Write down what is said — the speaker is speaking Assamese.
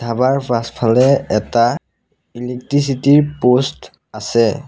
পাছফালে এটা ইলেকট্ৰিচিটি ৰ প'ষ্ট আছে।